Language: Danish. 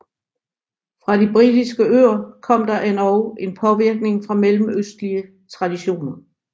Fra de britiske øer kom der endog en påvirkning fra mellemøstlige traditioner